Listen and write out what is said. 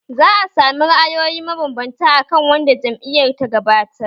Za a sami ra’ayoyi mabanbanta a kan wanda jam’iyyar ta gabatar